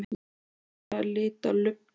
Ég var bara að lita lubbann.